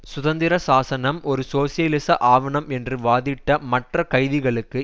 சுதந்திரசாசனம் ஒரு சோசியலிச ஆவணம் என்று வாதிட்ட மற்ற கைதிகளுக்கு